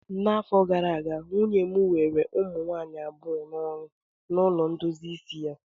N'afọ gara aga, nwunye m were ụmụ nwaanyị abụọ n'ọrụ na ụlọ ndozi isi ya